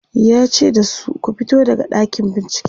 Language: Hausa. yace da su "ku fito daga ɗakin bincike!"